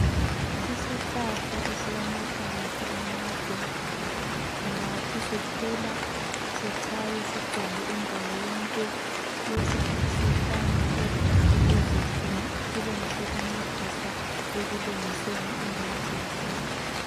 Isihlahla esilamahlamvu amade, kungathi sikhula sichaye sigcwale indawo yonke lesi sihlanyelwe ukuze sibe ngesokuncedisa ekulungiseni imithi yesintu.